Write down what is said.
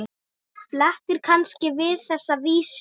Flestir kannast við þessa vísu